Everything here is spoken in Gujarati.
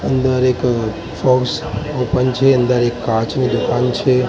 અંદર એક બોક્સ ઓપન છે અંદર એક કાચની દુકાન છે.